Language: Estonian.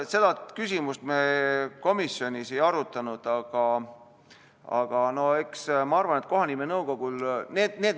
Seda küsimust me komisjonis ei arutanud.